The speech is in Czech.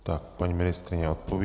Tak, paní ministryně odpoví.